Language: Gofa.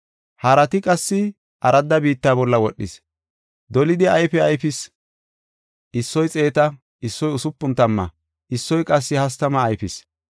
Harati qassi aradda biitta bolla wodhis; dolidi ayfe ayfis. Issoy xeeta, issoy usupun tamma, issoy qassi hastama ayfis.